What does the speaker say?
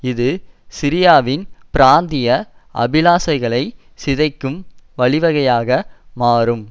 இது சிரியாவின் பிராந்திய அபிலாசைகளை சிதைக்கும் வழிவகையாக மாறும்